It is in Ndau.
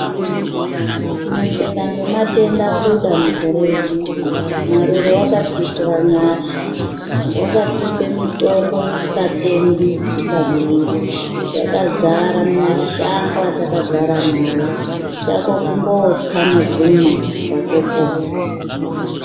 Kuneseka nematenda kuda mukore uno mukore wedu mwari akatiitira nyasha wakatipa mitombo isingatengwi isingadhuri zvakazara mumashango atakagara nawo chako kungotsa nekutokumwa watopona.